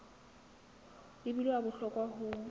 e bile wa bohlokwa ho